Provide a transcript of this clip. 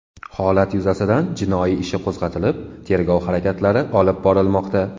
Holat yuzasidan jinoyat ishi qo‘zg‘atilib tergov harakatlari olib borilmoqda.